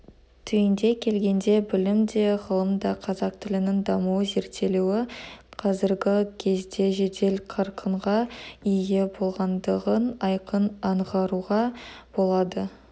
түйіндей келгенде білімде де ғылымда да қазақ тілінің дамуы зерттелуі қазіргі кезде жедел қарқынға ие болғандығын айқын аңғаруға болады